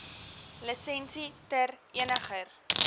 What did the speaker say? lisensie ter eniger